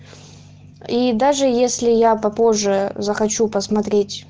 и даже если я попозже за хочу посмотреть